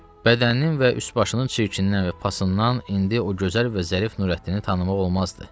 Bədəninin və üst başının çirkinindən və pasından indi o gözəl bir zərif Nurəddini tanımaq olmazdı.